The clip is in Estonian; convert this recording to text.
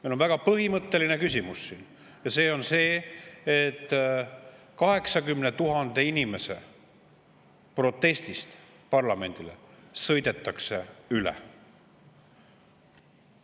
Meil on väga põhimõtteline küsimus ja see on see, et 80 000 inimese protestist, mis parlamendile, sõidetakse üle.